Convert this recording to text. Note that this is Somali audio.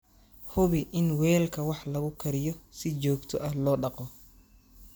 Hubi in weelka wax lagu kariyo si joogto ah loo dhaqo.